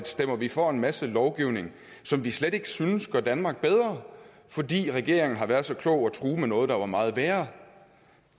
stemmer vi for en masse lovgivning som vi slet ikke synes gør danmark bedre fordi regeringen har været så klog at true med noget der er meget værre